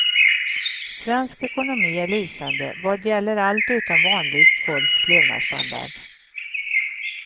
Svensk ekonomi är lysande vad gäller allt utom vanligt folks levnadsstandard.